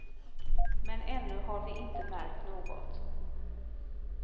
Men ännu har vi inte märkt något.